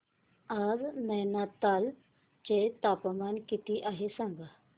आज नैनीताल चे तापमान किती आहे सांगा